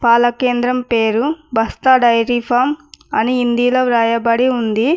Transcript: పాలకేంద్రం పేరు బస్తా dairy farm అని హిందీలో వ్రాయబడి ఉంది.